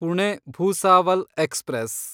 Pune Bhusawal express